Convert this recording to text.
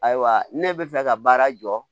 Ayiwa ne bɛ fɛ ka baara jɔ